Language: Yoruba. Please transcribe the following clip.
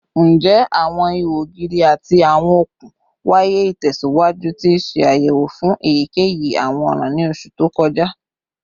Njẹ awọn iho ogiri ati awọn okun waya itẹsiwaju ti ṣe ayẹwo fun eyikeyi awọn ọran ni oṣu to kọja?